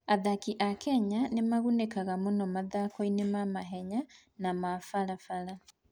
Athaki a Kenya nĩ magunĩkaga mũno mathako-inĩ ma mahenya na ma barabara.